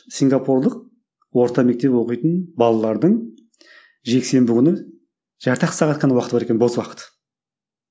сингапурлық орта мектеп оқитын балалардың жексенбі күні жарты ақ сағат қана уақыты бар екен бос уақыт